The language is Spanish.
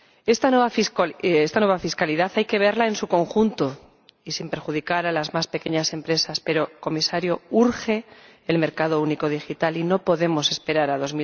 Esta nueva fiscalidad hay que verla en su conjunto y sin perjudicar a las más pequeñas empresas, pero —Comisario— urge el mercado único digital y no podemos esperar a